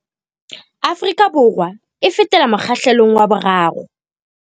Afrika Borwa e fetela mokgahlelong wa 3